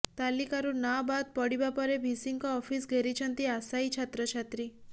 ତାଲିକାରୁ ନାଁ ବାଦ୍ ପଡିବା ପରେ ଭିସିଙ୍କ ଅଫିସ ଘେରିଛନ୍ତି ଆଶାୟୀ ଛାତ୍ରଛାତ୍ରୀ